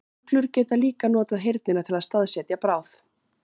Uglur geta líka notað heyrnina til að staðsetja bráð.